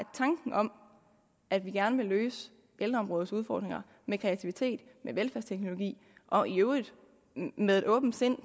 tanken om at vi gerne vil løse ældreområdets udfordringer med kreativitet med velfærdsteknologi og i øvrigt med et åbent sind